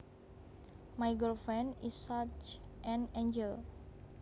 My girlfriend is such an angel